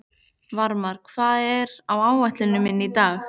Varmar, hvað er á áætluninni minni í dag?